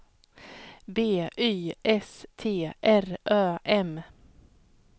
B Y S T R Ö M